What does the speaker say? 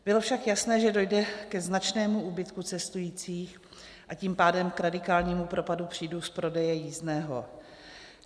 Bylo však jasné, že dojde ke značnému úbytku cestujících, a tím pádem k radikálnímu propadu příjmu z prodeje jízdného.